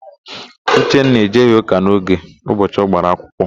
Uchenna ejeghị ụka n'oge ụbọchị ọ gbara akwụkwọ.